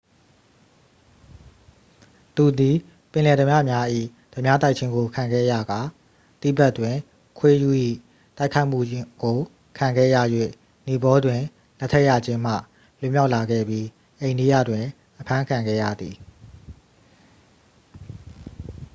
သူသည် ပင်လယ်ဓားပြများ၏ ဓားပြတိုက်ခြင်းကို ခံခဲ့ရကာ တိဘက်တွင် ခွေးရူး၏တိုက်ခိုက်မှုကို ခံခဲ့ရ၍ နီပေါတွင် လက်ထပ်ရခြင်းမှ လွတ်မြောက်လာခဲ့ပြီး အိန္ဒိယတွင် အဖမ်းခံခဲ့ရသည်